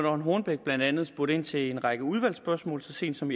rønn hornbech blandt andet spurgt ind til i en række udvalgsspørgsmål så sent som